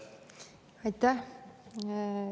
Aitäh!